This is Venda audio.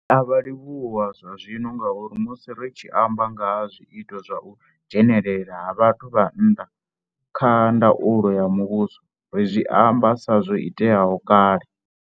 Ri a vha livhuwa zwazwino ngauri musi ri tshi amba nga ha zwiito zwa u dzhenelela ha vhathu vha nnḓa kha ndaulo ya muvhuso ri zwi amba sa zwo iteaho kale.